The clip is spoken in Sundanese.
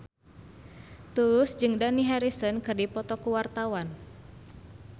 Tulus jeung Dani Harrison keur dipoto ku wartawan